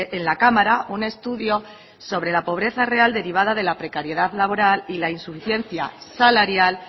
en la cámara un estudio sobre la pobreza real derivada de la precariedad laboral y la insuficiencia salarial